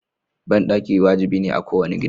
Banɗaki wajibi ne a kowane gida.